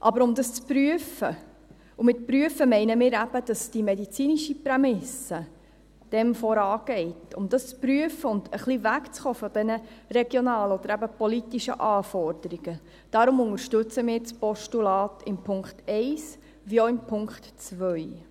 Aber um das zu prüfen – und mit «prüfen» meinen wir eben, dass die medizinische Prämisse dem vorangeht –, um das zu prüfen und ein wenig wegzukommen von diesen regionalen oder eben politischen Anforderungen, unterstützen wir das Postulat im Punkt 1 wie auch in Punkt 2.